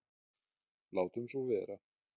Látum svona vera.